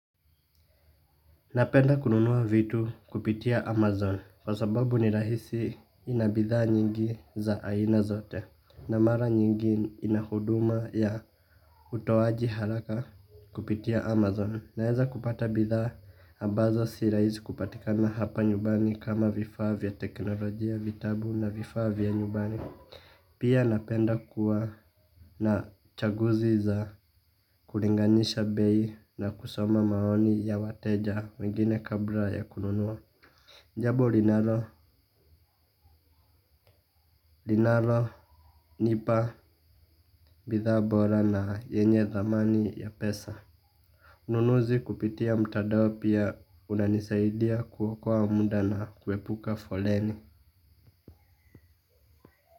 Napenda kununua vitu kupitia Amazon kwa sababu ni rahisi inabidhaa nyingi za aina zote. Na mara nyingi inahuduma ya utowaji haraka kupitia Amazon. Naeza kupata bidhaa ambazo sirahisi kupatikana hapa nyubani kama vifavya teknologijia vitabu na vifavya nyubani. Pia napenda kuwa na chaguzi za kuringanisha bei na kusoma maoni ya wateja wengine kabla ya kununua. Jabo linaro, linalo, nipa, bidhaa bora na yenye thamani ya pesa. Ununuzi kupitia mtadao pia unanisaidia kuokua muda na kuepuka foleni.